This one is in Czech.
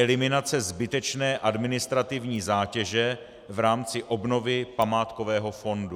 Eliminace zbytečné administrativní zátěže v rámci obnovy památkového fondu.